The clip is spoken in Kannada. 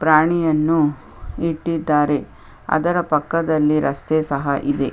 ಪ್ರಾಣಿಯನ್ನು ಇಟ್ಟಿದ್ದಾರೆ ಅದರ ಪಕ್ಕದಲ್ಲಿ ರಸ್ತೆ ಸಹ ಇದೆ .